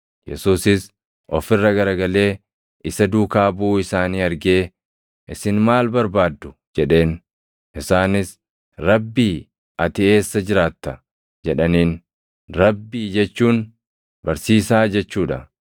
Yesuusis of irra garagalee isa duukaa buʼuu isaanii argee, “Isin maal barbaaddu?” jedheen. Isaanis, “Rabbii, ati eessa jiraatta?” jedhaniin. Rabbii jechuun Barsiisaa jechuu dha.